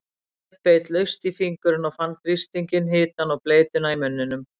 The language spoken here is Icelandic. Sveinn beit laust í fingurinn og fann þrýstinginn, hitann og bleytuna í munninum.